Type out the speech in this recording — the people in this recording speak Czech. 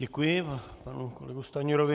Děkuji panu kolegovi Stanjurovi.